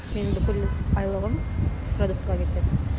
менің бүкіл айлығым продуктыға кетеді